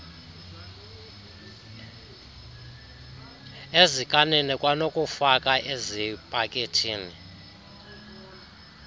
ezikanini kwanokufaka ezipakethini